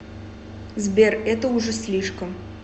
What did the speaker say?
сбер это уже слишком